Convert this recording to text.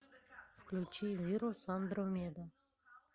включи вирус андромеда